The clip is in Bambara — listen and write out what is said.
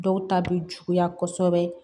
Dɔw ta bɛ juguya kɔsɛbɛ